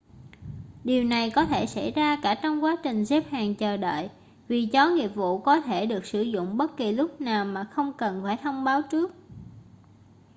điều này có thể xảy ra cả trong quá trình xếp hàng chờ đợi vì chó nghiệp vụ có thể được sử dụng bất kỳ lúc nào mà không cần phải thông báo trước